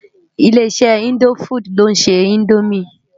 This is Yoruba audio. Ilé-iṣè Indófúd ló nṣé Indómi